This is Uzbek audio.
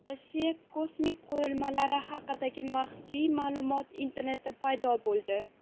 Rossiya kosmik qurilmalari haqidagi maxfiy ma’lumot internetda paydo bo‘ldi.